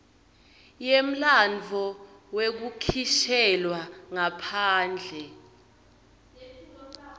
yemlandvo wekukhishelwa ngaphandle